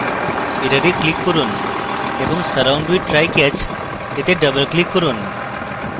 error click করুন এবং surround with try/catch এ double click করুন